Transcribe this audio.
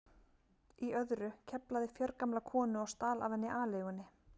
í öðru, KEFLAÐI FJÖRGAMLA KONU OG STAL AF HENNI ALEIGUNNI